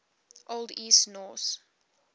old east norse